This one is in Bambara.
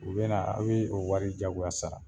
U be na a bi o wari jagoya sara.